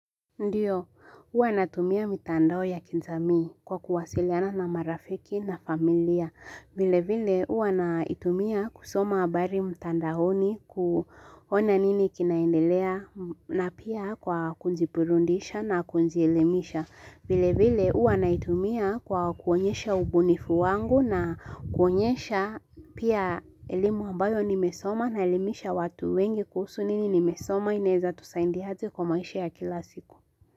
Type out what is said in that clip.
Ndiyo, huwa natumia mitandao ya kijamii kwa kuwasiliana na marafiki na familia. Vile vile huwa naitumia kusoma habari mtandaoni, kuona nini kinaendelea na pia kwa kujiburudisha na kujielimisha. Vile vile huwa naitumia kwa kuonyesha ubunifu wangu na kuonyesha pia elimu ambayo nimesoma naelimisha watu wengi kuhusu nini nimesoma, inaweza tusaidiaje kwa maisha ya kila siku.